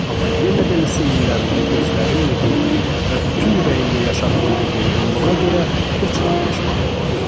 Amma yenə də litsey illərində gözlərimlə gördüyüm və bütün ürəyimlə yaşadığım bu vurğunluğa görə heç vaxt peşman olmadım.